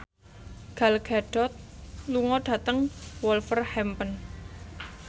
Gal Gadot lunga dhateng Wolverhampton